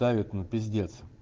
давит ну пиздец